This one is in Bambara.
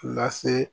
Lase